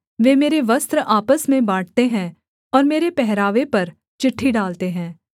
वे मेरे वस्त्र आपस में बाँटते हैं और मेरे पहरावे पर चिट्ठी डालते हैं